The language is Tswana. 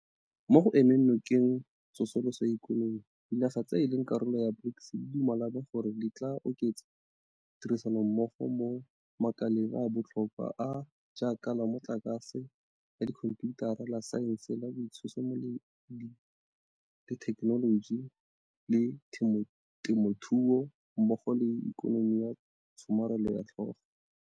Mo go emeng nokeng tso soloso ya ikonomi, dinaga tse e leng karolo ya BRICS di dumelane gore di tla oketsa tirisanommogo mo makaleng a a botlhokwa a a jaaka la mo tlakase, la dikhomphiutara, la saense, la boitshimololedi le thekenoloji, la temothuo mmogo le la ikonomi ya tsho marelo ya tlhago.